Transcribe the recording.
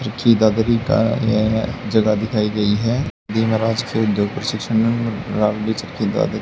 का यह जगह दिखाई गई है देव महाराज